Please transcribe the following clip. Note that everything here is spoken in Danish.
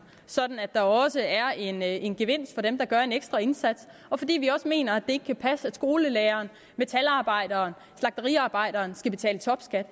sådan at der også er en en gevinst for dem der gør en ekstra indsats og fordi vi også mener at ikke kan passe at skolelærere metalarbejdere og slagteriarbejdere skal betale topskat